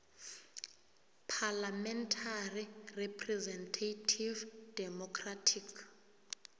parliamentary representative democratic